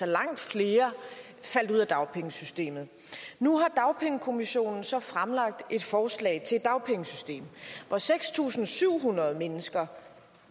langt flere faldt ud af dagpengesystemet nu har dagpengekommissionen så fremlagt et forslag til et dagpengesystem hvor seks tusind syv hundrede mennesker